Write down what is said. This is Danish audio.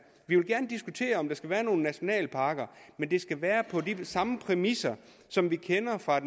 vi vil gerne diskutere om der skal være nogle nationalparker men det skal være på de samme præmisser som vi kender fra